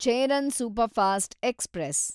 Cheran superfast express